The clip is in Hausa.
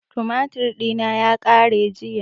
Tumatir ɗina ya ƙare jiya